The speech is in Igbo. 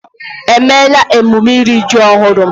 Èmeéla emume iri ji ọhụrụ?